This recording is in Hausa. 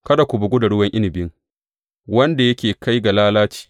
Kada ku bugu da ruwan inabi, wanda yake kai ga lalaci.